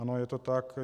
Ano, je to tak.